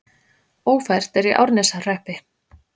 Ófært er í Árneshreppi